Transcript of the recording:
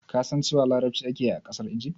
Ka san cewa larabci ake yi a ƙasar Igif?